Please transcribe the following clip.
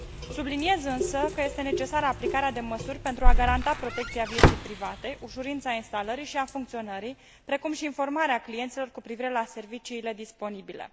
Subliniez însă că este necesară aplicarea de măsuri pentru a garanta protecția vieții private, ușurința instalării și a funcționării, precum și informarea clienților cu privire la serviciile disponibile.